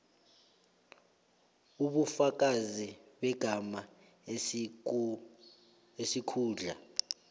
ubufakazi begama isikhundla